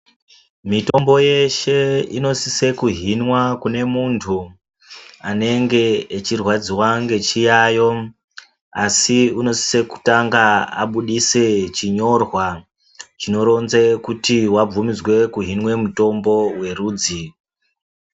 Mitombo yeshe inosise kuhinwa kune muntu anenge echirwadziwa ngechiyayo asi unosiso kutanga abudise chinyorwa chinoronze kuti wabvumidzwe kuhinwe mutombo werudzi.